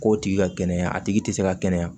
K'o tigi ka kɛnɛya a tigi tɛ se ka kɛnɛya